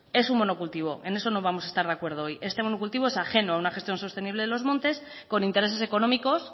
es un monocultivo en eso no vamos a estar de acuerdo hoy este monocultivo es ajeno a una gestión sostenible de los montes con intereses económicos